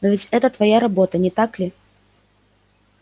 но ведь это твоя работа не так ли